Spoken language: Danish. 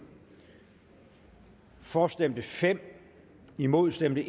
for stemte fem imod stemte